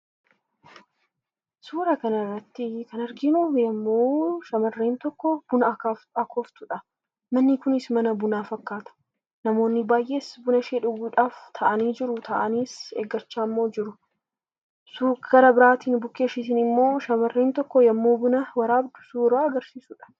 Suura kanarratti kan arginu yommuu shamarreen tokko buna akooftudha. Manni kunis mana bunaa fakkaata. Namoonni baay'een bunashee dhugudhaaf taa'anii eeggachaa jiru. Karaa biraatiin immoo shamarreen tokko bukkee isheetii yeroo buna waraabdu kan agarsiisudha.